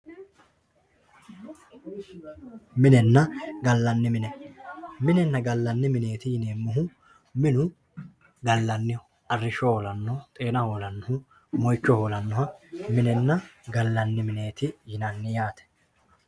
minenna gallanni mine, minenna gallanni mineeti yineemmohu minu gallanniho arrishsho hoolannoho xaana hoolannoho mohicho hoolannoha minenna gallanni mineeti yinanni yaate.